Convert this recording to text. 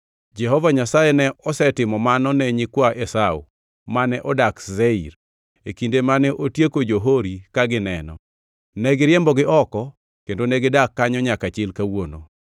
Jehova Nyasaye ne osetimo mano ne nyikwa Esau, mane odak Seir, e kinde mane otieko jo-Hori ka gineno. Negiriembogi oko kendo gidak kanyo nyaka chil kawuono.